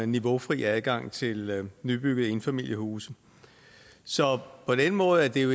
niveaufri adgang til nybyggede enfamiliehuse så på den måde er det jo